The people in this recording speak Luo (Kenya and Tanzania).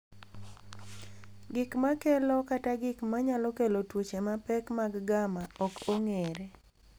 Gik ma kelo kata gik ma nyalo kelo tuoche mapek mag gamma ok ong’ere.